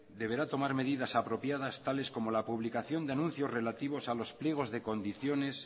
deberá tomar medidas apropiadas tales como la publicación de anuncios relativos a los pliegos de condiciones